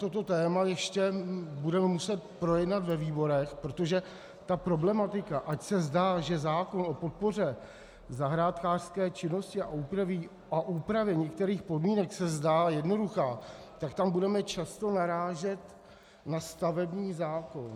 Toto téma ještě budeme muset projednat ve výborech, protože ta problematika, ač se zdá, že zákon o podpoře zahrádkářské činnosti a úpravě některých podmínek - se zdá jednoduchá, tak tam budeme často narážet na stavební zákon.